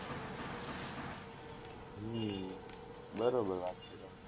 હમ બરોબર વાત છે,